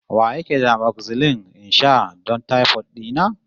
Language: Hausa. Wa yake da amoxil in sha don taifot dina?